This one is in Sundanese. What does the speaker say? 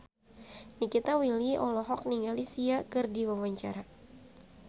Nikita Willy olohok ningali Sia keur diwawancara